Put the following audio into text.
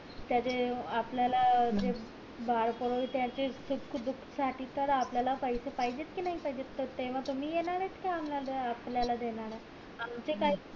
त्याचे आपल्याला जे बाळ होईल त्याच्या सुखा दुःखाला तर आपल्याला पैसे पाहिजेत कि नाही तेव्हा तुम्ही येणार येत का आम्हला आपल्यला द्याल आमचे काय